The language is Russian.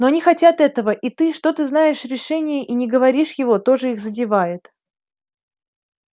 но они хотят этого и то что ты знаешь решение и не говоришь его тоже их задевает